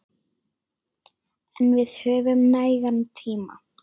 En við höfum nægan tíma.